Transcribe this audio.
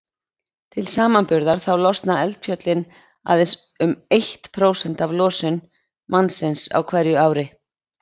Til samanburðar þá losa eldfjöllin aðeins um eitt prósent af losun mannsins á ári hverju.